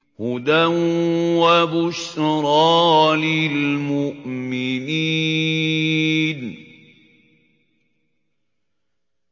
هُدًى وَبُشْرَىٰ لِلْمُؤْمِنِينَ